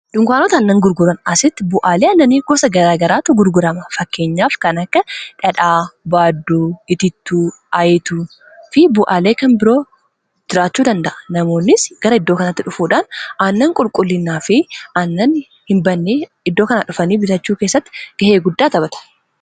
dunkaanotaannan gurguran asitti bu'aalee annanii gosa ggaraatu gurgurama fakkeenyaaf kan akka dhadhaa baadduu itiittuu aayituu fi bu'aalee kan biroo jiraachuu danda'a namoonnis gara iddoo kanaatti dhufuudhaan annan qulqullinnaa fi annan hin bannee iddoo kanaa dhufanii bitachuu keessatti ga'ee guddaa taphata